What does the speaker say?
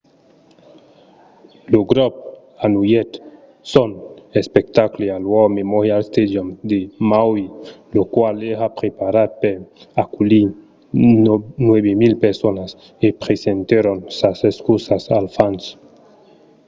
lo grop anullèt son espectacle al war memorial stadium de maui lo qual èra preparat per aculhir 9 000 personas e presentèron sas excusas als fans